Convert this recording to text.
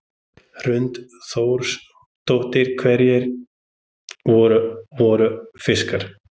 Hrund Þórsdóttir: Einhverjir alvöru, alvöru fiskar?